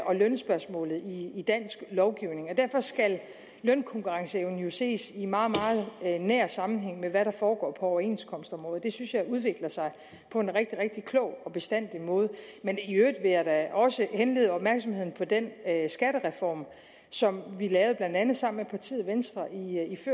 og lønspørgsmålet i dansk lovgivning og derfor skal lønkonkurrenceevnen jo ses i meget meget nær sammenhæng med hvad der foregår på overenskomstområdet det synes jeg udvikler sig på en rigtig rigtig klog og forstandig måde men i øvrigt vil jeg da også henlede opmærksomheden på den skattereform som vi lavede blandt andet sammen med partiet venstre i